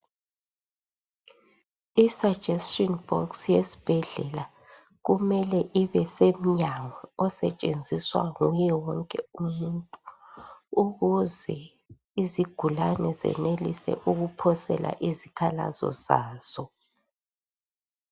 Isuggestion box yesibhedlela, kumele ibesemnyango, osetshenziswa nguye wonke umuntu. Ukuze izigulane, zenelise ukuphosela izikhalazo zazo.